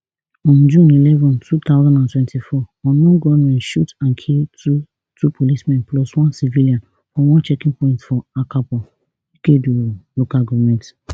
on june eleven two thousand and twenty-four unknown gunmen shoot and kill two two policemen plus one civilian for one checking point for akabo ikeduru local goment